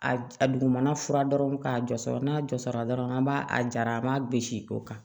A a dugumana fura dɔrɔn k'a jɔsira n'a jɔsira dɔrɔn an b'a a jara an b'a gosi o kan